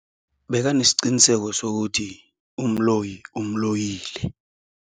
Bekanesiqiniseko sokuthi umloyi umloyile.